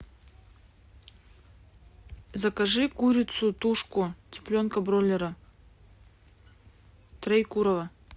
закажи курицу тушку цыпленка бройлера троекурово